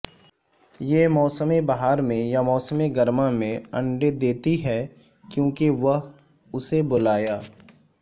یہ موسم بہار میں یا موسم گرما میں انڈے دیتی ہے کیونکہ وہ اسے بلایا